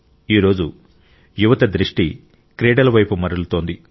ఈ రోజు యువత దృష్టి క్రీడలవైపు మళ్ళుతోంది